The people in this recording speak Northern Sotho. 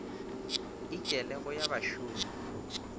e kilego ya ba bašomi